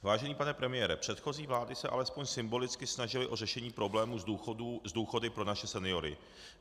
Vážený pane premiére, předchozí vlády se alespoň symbolicky snažily o řešení problému s důchody pro naše seniory.